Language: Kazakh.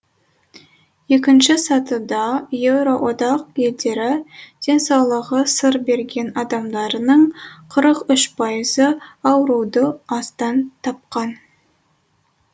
екінші сатыда еуроодақ елдері денсаулығы сыр берген адамдарының қырық үш пайызы ауруды астан тапқан